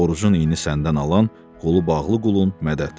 Orucun iynin səndən alan, qolu bağlı qulun Mədəd.